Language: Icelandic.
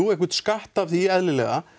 einhvern skatt af því eðlilega